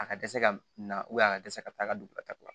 A ka dɛsɛ ka na a ka dɛsɛ ka taa ka don dugutaga la